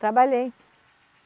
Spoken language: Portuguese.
Trabalhei.